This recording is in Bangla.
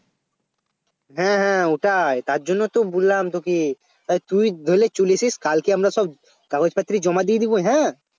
হ্যাঁ হ্যাঁ ওটাই তার জন্য তো বললাম তোকে তা তুই ধরেলে চলে আসিস কালকে আমরা সব কাগজ পত্র জমা দিয়ে দেব হ্যাঁ